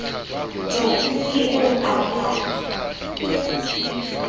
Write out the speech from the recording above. jo ke eo a kwala